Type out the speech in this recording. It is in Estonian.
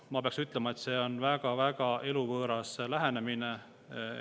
Ma pean ütlema, et see on väga eluvõõras lähenemine.